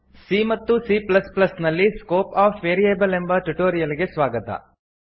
C ಮತ್ತು C plus plus ನಲ್ಲಿ scope of variable ಎಂಬ ಟ್ಯುಟೋರಿಯಲ್ ಗೆ ಸ್ವಾಗತ